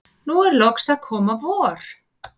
nú er loks að koma vor.